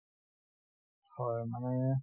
হয়, মানে